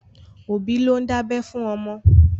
Òbí ló ń dábẹ́ fún ọmọ.